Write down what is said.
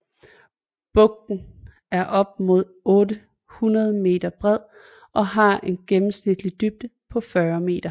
Bugten er op mod 800 m bred og har en gennemsnitlig dybde på 40 m